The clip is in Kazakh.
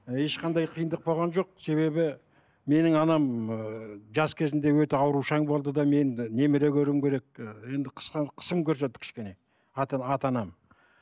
ешқандай қиындық болған жоқ себебі менің анам ыыы жас кезінде өте аурушаң болды да мен і немере көруім керек ы енді қысым көрсетті кішкене ата анам